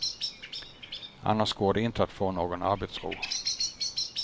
Annars går det inte att få någon arbetsro.